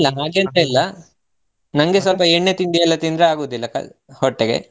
ಇಲ್ಲಾ ಇಲ್ಲ ಹಾಗೆಂತ ಇಲ್ಲಾ ನಂಗೆ ಸ್ವಲ್ಪ ಎಣ್ಣೆ ತಿಂಡಿ ಎಲ್ಲಾ ತಿಂದರೆ ಆಗುದಿಲ್ಲ ಕಲ~ ಹೊಟ್ಟೆಗೆ.